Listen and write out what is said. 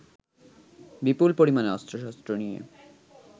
বিপুল পরিমাণে অস্ত্রশস্ত্র নিয়ে